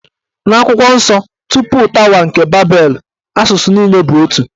N'akwụkwọ nsọ, tupu tawa nke babelu, asụsụ niile bụ otu.